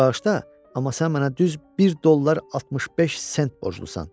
Bağışla, amma sən mənə düz 1 dollar 65 sent borclusan.